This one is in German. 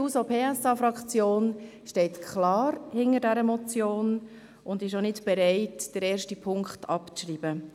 Die SP-JUSO-PSA-Fraktion unterstützt diese Motion klar und ist auch nicht bereit, den ersten Punkt abzuschreiben.